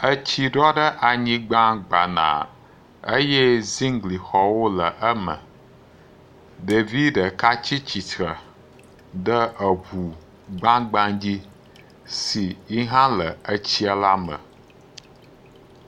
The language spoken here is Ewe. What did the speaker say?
Etsi ɖɔ ɖe gbanaa eye zingli xɔwo le eme, ɖevi ɖeka tsi tsitre ɖe eŋu gbagba dzi si yi hã le etsi la me.